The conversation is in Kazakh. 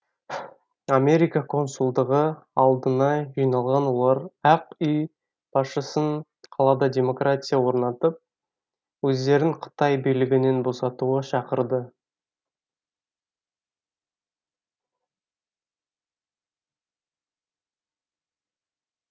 америка консулдығы алдына жиналған олар ақ үй басшысын қалада демократия орнатып өздерін қытай билігінен босатуға шақырды